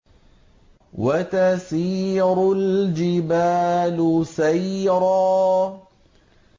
وَتَسِيرُ الْجِبَالُ سَيْرًا